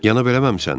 Yana bilməmisən?